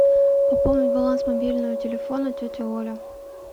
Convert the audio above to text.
пополнить баланс мобильного телефона тетя оля